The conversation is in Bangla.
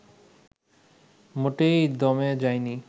মোটেই দমে যায়নি